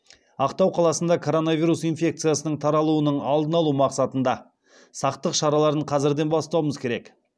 ақтау қаласында короновирус инфекциясының таралуының алдын алу мақсатында сақтық шараларын қазірден бастауымыз керек